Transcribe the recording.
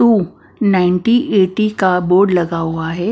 To ninety eighty का board लगा हुआ है।